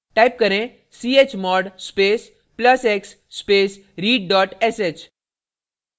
type करें chmod space plus x space read sh